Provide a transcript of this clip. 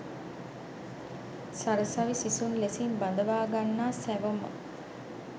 සරසවි සිසුන් ලෙසින් බඳවා ගන්නා සැවොම